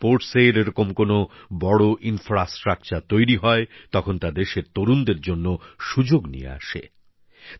যখনই ক্রীড়াজগতে এরকম কোন বড় পরিকাঠামো তৈরি হয় তখন তা দেশের তরুণদের জন্য সুযোগ নিয়ে আসে